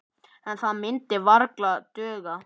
En það myndi varla duga.